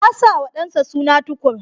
Ya sa wa ɗansa suna Tukur.